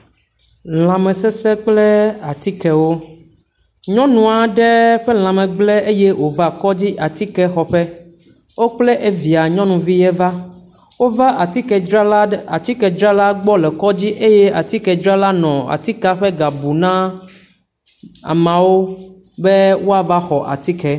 Lãmesesẽ kple atikewo. Nyɔnu aɖe ƒe lãme gblẽ eye wova kɔdzi, atike xɔƒe. Wo kple via nyɔnuvie va. Wova atikedzrala gbɔ le kɔdzi eye atikedzrala nɔ atike ƒe ga bum na ameawo be woava xɔ atike.